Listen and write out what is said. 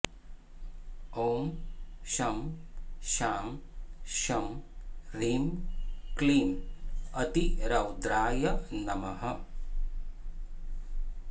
ॐ शं शां षं ह्रीं क्लीं अतिरौद्राय नमः